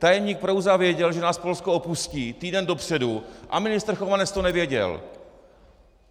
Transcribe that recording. Tajemník Prouza věděl, že nás Polsko opustí, týden dopředu a ministr Chovanec to nevěděl!